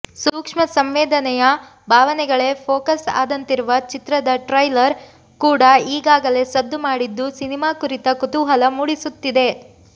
ಸೂಕ್ಷ್ಮಸಂವೇದನೆಯ ಭಾವನೆಗಳೇ ಫೋಕಸ್ ಆದಂತಿರುವ ಚಿತ್ರದ ಟ್ರೈಲರ್ ಕೂಡ ಈಗಾಗಲೇ ಸದ್ದು ಮಾಡಿದ್ದು ಸಿನಿಮಾ ಕುರಿತ ಕುತೂಹಲ ಮೂಡಿಸುತ್ತಿದೆ